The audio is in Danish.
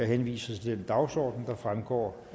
henviser til den dagsorden der fremgår